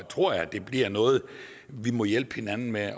tror jeg det bliver noget vi må hjælpe hinanden med at